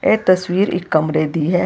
ਇਹ ਤਸਵੀਰ ਇੱਕ ਕਮਰੇ ਦੀ ਹੈ।